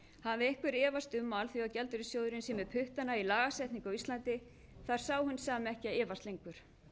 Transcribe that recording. hafi einhver efast um að alþjóðagjaldeyrissjóðurinn sé með puttana í lagasetningu á íslandi þarf sá hinn sami ekki að efast lengur